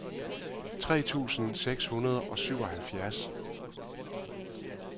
tre tusind seks hundrede og syvoghalvfjerds